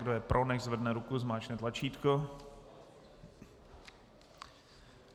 Kdo je pro, nechť zvedne ruku, zmáčkne tlačítko.